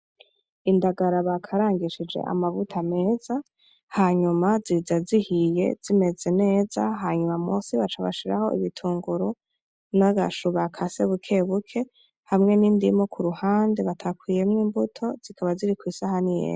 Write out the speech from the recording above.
Indagara bakarangishije amavuta meza, hanyuma ziza zihiye zimeze neza, hanyuma munsi baca bashiraho ibitunguru n'agashu bakase bukebuke n'indimu kuruhande batakuyemwo imbuto, ziri kw'isahani yera.